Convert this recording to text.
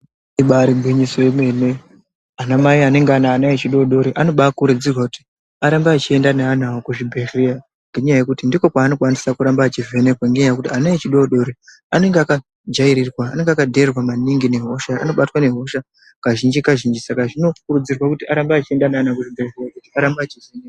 Ibari gwinyiso remenene anamai anenge ane ana echidodori anoba akurudzirwa kuti arambe achienda neana awo kuchibhehleya, ngenyaya yekuti ndikwo kwaanokwanisa kuramba echivhenekwa, ngenyaya yekuti ana echidodori anenge akajairirirwa/akadheererwa maningi nehosha ,anobatwa nehosha kazhinji kazhinji saka zvinokurudzirwa kuti arambe achienda nevana kuzvibhehlera..